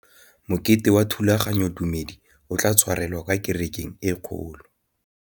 Mokete wa thulaganyôtumêdi o tla tshwarelwa kwa kerekeng e kgolo.